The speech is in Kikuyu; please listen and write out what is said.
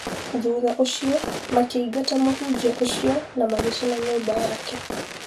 Thutha ũcio makĩingata mũhunjia ũcio na magĩcina nyũmba yake